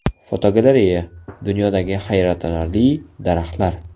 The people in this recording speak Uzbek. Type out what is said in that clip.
Fotogalereya: Dunyodagi hayratlanarli daraxtlar.